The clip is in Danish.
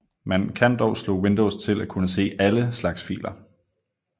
Man kan dog slå Windows til at kunne se ALLE slags filer